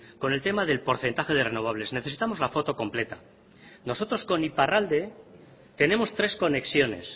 con el tema del porcentaje de renovables necesitamos la foto completa nosotros con iparralde tenemos tres conexiones